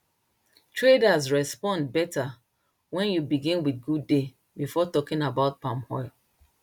traders respond better when you begin with good day before talking about palm oil